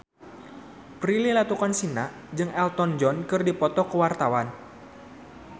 Prilly Latuconsina jeung Elton John keur dipoto ku wartawan